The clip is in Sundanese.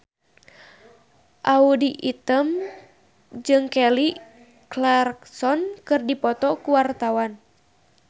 Audy Item jeung Kelly Clarkson keur dipoto ku wartawan